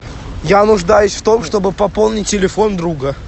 я нуждаюсь в том чтобы пополнить телефон друга